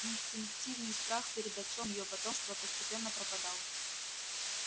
инстинктивный страх перед отцом её потомства постепенно пропадал